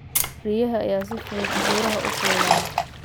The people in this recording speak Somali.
Riyaha ayaa si fudud buuraha u fuula.